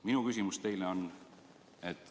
Minu küsimus teile on selline.